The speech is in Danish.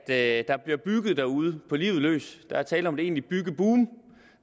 at der bliver bygget derude på livet løs der er tale om et egentligt byggeboom